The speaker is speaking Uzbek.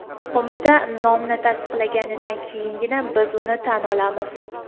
Qo‘mita nomni tasdiqlaganidan keyingina biz uni tan olamiz.